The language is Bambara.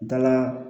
Dala